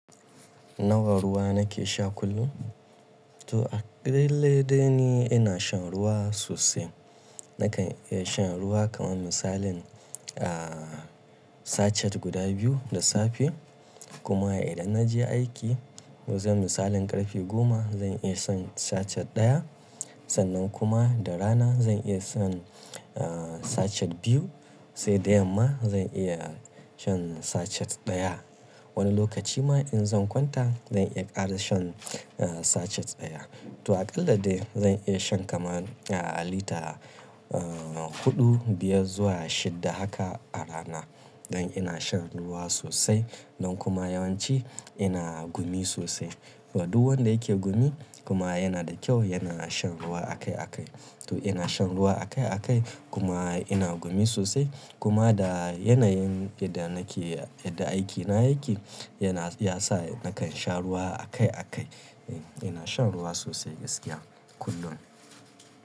Nawa ruwa nake sha kullum? To a lailai dai ni ina shan ruwa sosai. Nakan iya shan ruwa kaman misalin, ah, sachet guda biyu da safe. Kuma idan naje aiki, wajen misalin ƙarfe goma zan iya shan sachet ɗaya. Sannan kuma da rana zan iya shan, ah, sachet biyu. Sai da yamma zan iya shan sachet ɗaya. Wani lokaci ma in zan kwanta zan iya ƙara shan, ah, sachet ɗaya. To aƙila dai zan iya shan kaman, ah, lita, ah, huɗu, biyar zuwa shidda haka a rana. Don ina shan ruwa sosai. Don kuma yawanci ina gumi sosai. To duk wanda yake gumi kuma yana da kyau yana shan ruwa akai-akai. To ina shan ruwa akai-akai kuma ina gumi sosai. Kuma da yanayin idan nake, idan aikina yake yana, ya sa nakan sha ruwa akai-akai. Eh ina shan ruwa sosai gaskiya kullum.